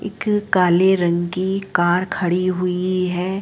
एक काले रंग की कर खड़ी हुई है।